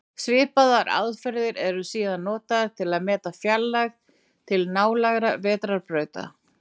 Svipaðar aðferðir eru síðan notaðar til að meta fjarlægð til nálægra vetrarbrauta.